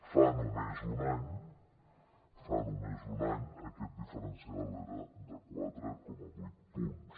fa només un any fa només un any aquest diferencial era de quatre coma vuit punts